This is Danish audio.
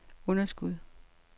underskud